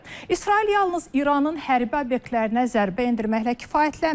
İsrail yalnız İranın hərbi obyektlərinə zərbə endirməklə kifayətlənmədi.